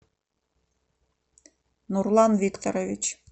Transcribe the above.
нурлан викторович